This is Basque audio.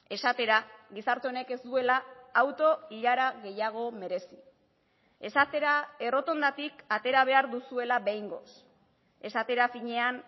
esatera gizarte honek ez duela auto ilara gehiago merezi esatera errotondatik atera behar duzuela behingoz esatera finean